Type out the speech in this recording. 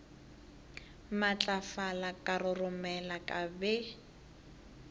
matlafala ka roromela ka be